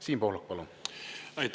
Siim Pohlak, palun!